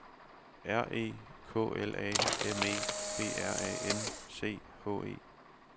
R E K L A M E B R A N C H E